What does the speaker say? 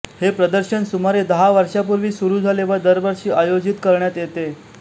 हे प्रदर्शन सुमारे दहा वर्षांपूर्वी सुरू झाले व दरवर्षी आयोजित करण्यात येते